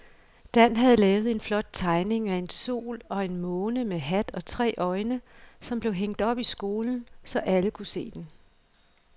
Dan havde lavet en flot tegning af en sol og en måne med hat og tre øjne, som blev hængt op i skolen, så alle kunne se den.